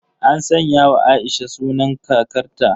An sanyawa Aisha sunan kakarta.